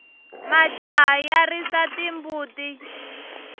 majaha ya risa timbuti